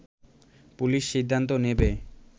police সিদ্ধান্ত নেবে